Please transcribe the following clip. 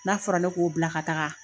N'a fɔra ne k'o bila ka taga.